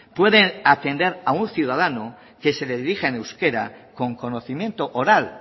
puede atender a un ciudadano que se dirija en euskera con conocimiento oral